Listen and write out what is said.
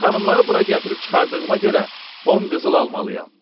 Xanımları bura gətirib çıxardığıma görə 10 qızıl almalıyam.